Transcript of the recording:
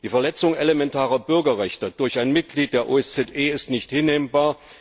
Die Verletzung elementarer Bürgerrechte durch ein Mitglied der OSZE ist nicht hinnehmbar.